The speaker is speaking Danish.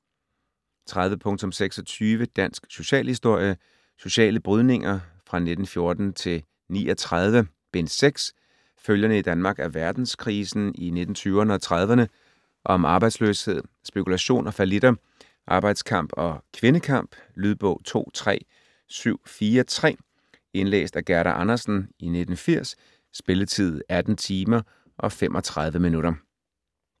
30.26 Dansk socialhistorie: Sociale brydninger 1914-39: Bind 6 Følgerne i Danmark af verdenskrisen i 1920'rne og 1930'rne. Om arbejdsløshed, spekulation og fallitter, arbejdskamp og kvindekamp. Lydbog 23743 Indlæst af Gerda Andersen, 1980. Spilletid: 18 timer, 35 minutter.